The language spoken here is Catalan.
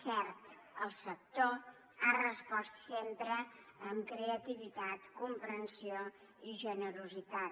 cert el sector ha respost sempre amb creativitat comprensió i generositat